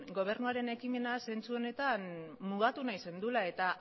gobernuaren ekimena zentzu honetan mugatu nahi zenuela eta